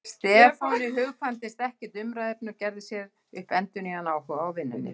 Stefáni hugkvæmdist ekkert umræðuefni og gerði sér upp endurnýjaðan áhuga á vinnunni.